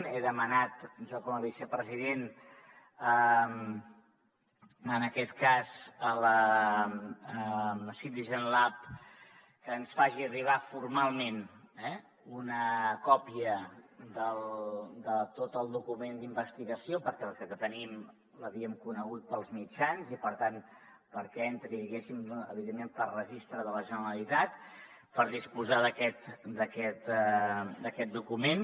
he demanat jo com a vicepresident en aquest cas a citizen lab que ens faci arribar formalment eh una còpia de tot el document d’investigació perquè el que tenim l’havíem conegut pels mitjans i per tant perquè entri diguéssim evidentment pel registre de la generalitat per disposar d’aquest document